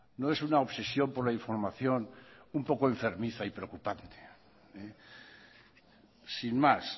no es una obsesión por la información un poco enfermiza y preocupante sin más